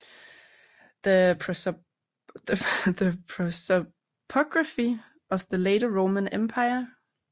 The Prosopography of the Later Roman Empire